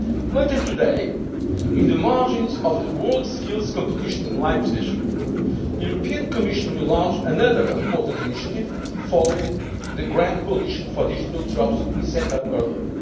Union. Later today, in the margins of the WorldSkills competition in Leipzig, the European Commission will launch another important initiative, following the Grand Coalition for Digital Jobs we set up earlier.